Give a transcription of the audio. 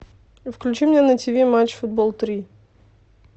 включи мне на тв матч футбол три